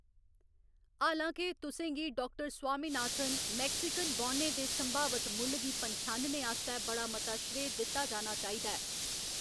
हालां के, तुसें गी, डाक्टर स्वामीनाथन, मैक्सिकन बौनें दे संभावत मुल्ल गी पन्छानने आस्तै बड़ा मता श्रेय दित्ता जाना चाहिदा ऐ।